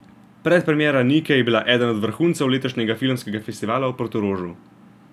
Predpremiera Nike je bila eden od vrhuncev letošnjega filmskega festivala v Portorožu.